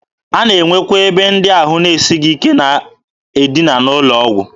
A na-enwe akwa ebe ndị ahụ na-esighị ike na-edina n'ụlọ ọgwụ.